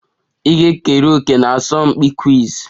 Ị ga-ekere òkè na asọmpi quiz?